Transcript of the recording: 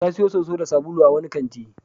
Ta sayo soso da sabulu a wani kanti.